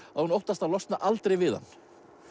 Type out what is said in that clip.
að hún óttast að losna aldrei við hann